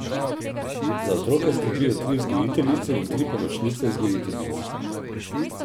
Za otroke skrbijo tri vzgojiteljice in tri pomočnice vzgojiteljic.